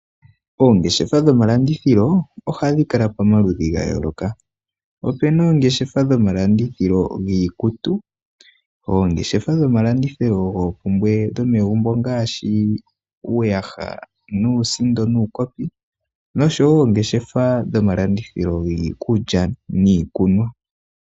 Oongeshefa dhomalandithilo oha dhi kala pamaludhi ga yooloka. Ope na oongeshefa dhomalandithilo giikutu, oongeshefa dhomalandithilo goomoumbwe dhomegumbo nngaash uuyaha nuusndo, nuukopi, nosho wo oongeshefa dhomalandithilo giikulya niikunwa.